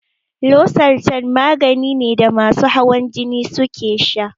Losartan magani ne da masu hawan jini suke sha